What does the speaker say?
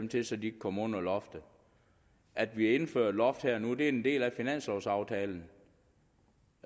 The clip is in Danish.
til så de kan komme under loftet at vi indfører et loft her og nu er en del af finanslovaftalen